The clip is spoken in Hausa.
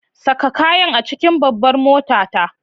Saka kayan a cikin babbar motata!